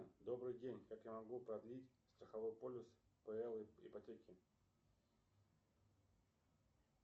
добрый день как я могу продлить страховой полис по ипотеке